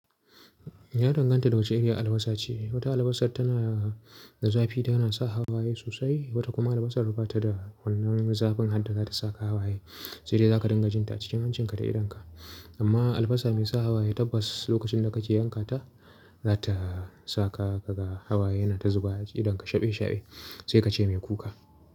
Ya danganta da wace irin albasa ce. Wata albasa tana da zafi da yana sa hawaye sosai, wata kuma albasa rubata da wannan zafin har da za ta saka hawaye, sai dai za ka dinga jin ta cikin hancinka da idonka. Amma albasa mai sa hawaye tabbas lokacin da ka ke yanka ta, za ta saka ka ga hawaye yana ta zuba a cikin idonka shaɓe shaɓe sai ka ce mai kuka.